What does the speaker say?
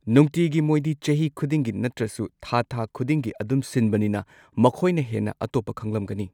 ꯅꯨꯡꯇꯤꯒꯤ ꯃꯣꯏꯗꯤ ꯆꯍꯤ ꯈꯨꯗꯤꯡꯒꯤ ꯅꯠꯇ꯭ꯔꯁꯨ ꯊꯥ ꯊꯥ ꯈꯨꯗꯤꯡꯒꯤ ꯑꯗꯨꯝ ꯁꯤꯟꯕꯅꯤꯅ ꯃꯈꯣꯏꯅ ꯍꯦꯟꯅ ꯑꯇꯣꯞꯄ ꯈꯪꯂꯝꯒꯅꯤ꯫